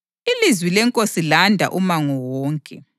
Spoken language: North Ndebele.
Ilizwi leNkosi landa umango wonke.